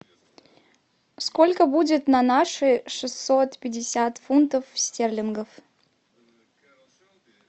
сколько будет на наши шестьсот пятьдесят фунтов стерлингов